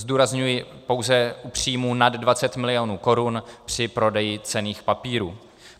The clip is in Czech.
Zdůrazňuji pouze u příjmu nad 20 milionů korun při prodeji cenných papírů.